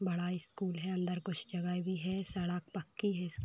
बड़ा स्कूल है अलर कुछ जगह भी है। सड़क पक्की है इस --